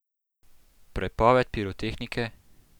Prepoved pirotehnike?